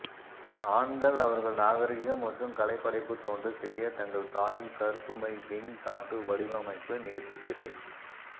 ஆண்கள் அவர்கள் நாகரீக மற்றும் கலைப்படைப்பு தோன்ற செய்ய தங்கள் காலில் கருப்பு மை விங் டாட்டூ வடிவமைப்பு நேசிக்கிறேன்